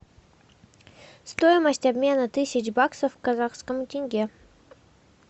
стоимость обмена тысяч баксов к казахскому тенге